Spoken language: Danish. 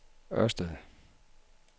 Ørsted